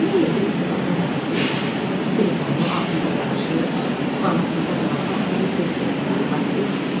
Yeni evdə üç otaqlı mənzil, telefonu, altında qarajı, vannasında qara kafeli, döşəməsi plastik.